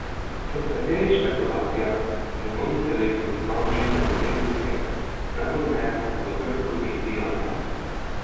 Po nekaterih špekulacijah bo novi selektor znan že v naslednjih dneh, najpozneje pa v prvi polovici januarja.